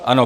Ano.